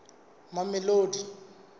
mamelodi